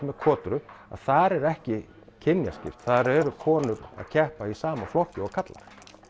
með kotru að þar er ekki kynjaskipt þar eru konur að keppa í sama flokki og karlar